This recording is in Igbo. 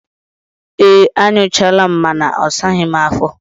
Ee, anyụchaala m mana ọ saghi m afo